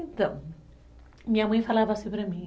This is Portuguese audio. Então, minha mãe falava assim para mim,